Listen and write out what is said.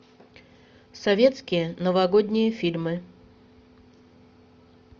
советские новогодние фильмы